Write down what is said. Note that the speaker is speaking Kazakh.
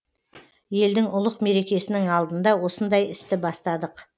елдің ұлық мерекесінің алдында осындай істі бастадық